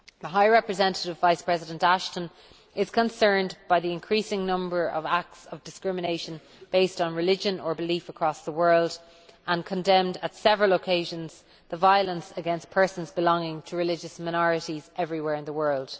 High Representative Vice President Ashton is concerned by the increasing number of acts of discrimination based on religion or belief across the world, and has condemned on several occasions the violence against persons belonging to religious minorities everywhere in the world.